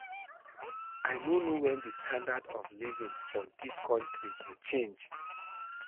I no know wen the standard of living for dis country go change